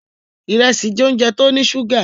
Ìrẹsì jẹ́ óúnjẹ tó ní ṣúgà.